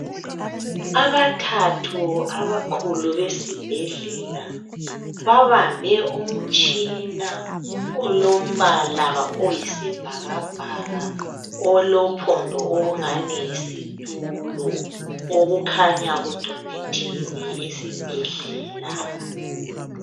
Abathathu abakhulu besibhedlela babambe umtshina olombala oyisibhakabhaka olophondo olungani yisitulo okukhanya kudonethiwe esibhedlela.